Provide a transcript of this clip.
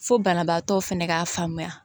Fo banabaatɔ fɛnɛ ka faamuya